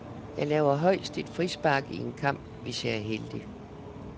Jeg laver højst et frispark i en kamp, hvis jeg er heldig.